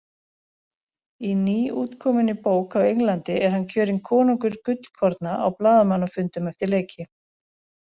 Í nýútkominni bók á Englandi er hann kjörinn konungur gullkorna á blaðamannafundum eftir leiki!